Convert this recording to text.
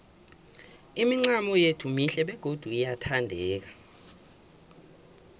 imincamo yethu mihle begodu iyathandeka